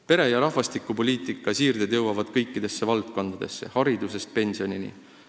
Pere- ja rahvastikupoliitika siirded jõuavad kõikidesse valdkondadesse, haridusest pensionini.